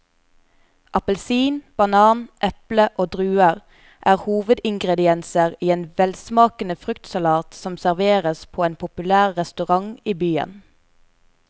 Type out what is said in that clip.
Appelsin, banan, eple og druer er hovedingredienser i en velsmakende fruktsalat som serveres på en populær restaurant i byen.